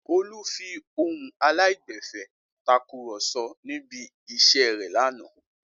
Olú fi ohùn aláìgbẹ̀fẹ̀ takùrọ̀sọ níbi iṣẹ́ rẹ̀ lánàá.